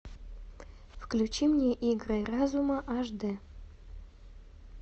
включи мне игры разума аш д